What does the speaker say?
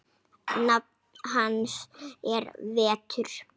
Nafn hans er Vetur.